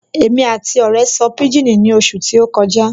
Èmi àti ọ̀rẹ́ sọ pijini ní oṣù tí ó kọjá